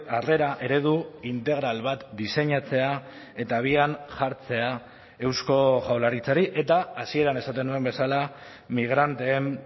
harrera eredu integral bat diseinatzea eta abian jartzea eusko jaurlaritzari eta hasieran esaten nuen bezala migranteen